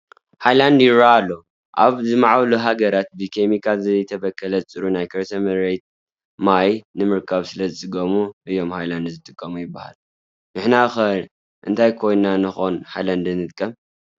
ሃይላንድ ይርአ ኣሎ፡፡ ኣብ ዝማዕበሉ ሃገራት ብኬሚካል ዘይተበከለ ፅሩይ ናይ ከርሰ መሬት ማይ ንምርካብ ስለዝፅገሙ እዮም ሃይላንድ ዝጥቀሙ ይበሃል፡፡ ንሕና ኸ እንታይ ኮይንና ንኾን ሃይላንድ ንጥቀም፡፡